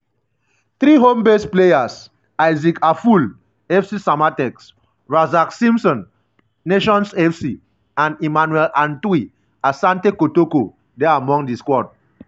three home-based players - isaac afful (fc samatex) razak simpson (nations fc) um and emmanuel antwi (asante kotoko) dey among di squad.